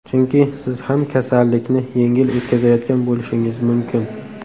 Chunki siz ham kasallikni yengil o‘tkazayotgan bo‘lishingiz mumkin.